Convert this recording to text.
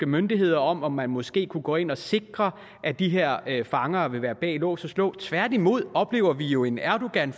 myndigheder om at man måske kunne gå ind og sikre at de her fanger vil være bag lås og slå tværtimod oplever vi jo en erdogan